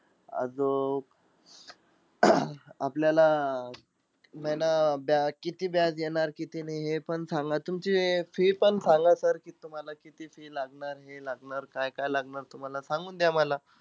आजूक आपल्याला महिना बया किती व्याज येणार किती नाई हे पण सांगा. तुमची अं fee पण सांगा sir की तुम्हाला किती fee लागणार, हे लागणार, काय-काय लागणार तुम्हाला, सांगून द्या मला.